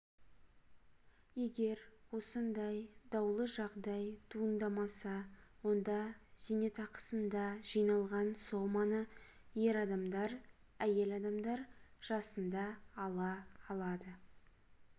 егер осындай даулы жағдай туындамаса онда зейнетақысында жиналған соманы ер адамдар әйел адамдар жасында ала алады